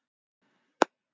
Verksmiðjan var stækkuð